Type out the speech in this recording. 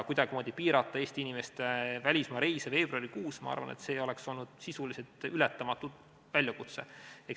Kuidagimoodi piirata Eesti inimeste välismaareise veebruarikuus, ma arvan, oleks olnud sisuliselt ületamatu väljakutse.